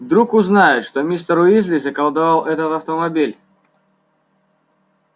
вдруг узнают что мистер уизли заколдовал этот автомобиль